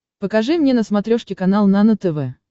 покажи мне на смотрешке канал нано тв